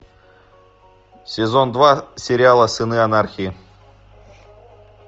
сезон два сериала сыны анархии